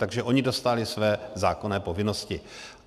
Takže oni dostali své zákonné povinnosti.